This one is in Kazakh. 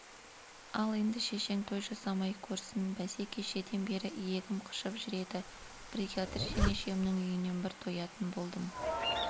ал енді шешең той жасамай көрсін бәсе кешеден бері иегім қышып жүр еді бригадир жеңешемнің үйінен бір тоятын болдым